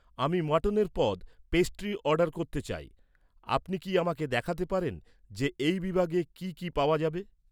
আমি মাটনের পদ, পেস্ট্রি অর্ডার করতে চাই। আপনি কি আমাকে দেখাতে পারেন যে, এই বিভাগে কি কি পাওয়া যায়?